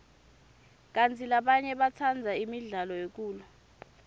kantsi labanye batsandza imidlalo yekulwa